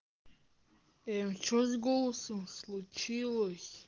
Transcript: и что с голосом случилось